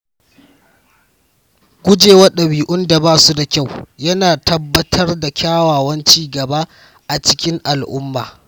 Guje wa ɗabi'un da ba su da kyau yana tabbatar da kyakkyawan ci gaba a cikin al’umma.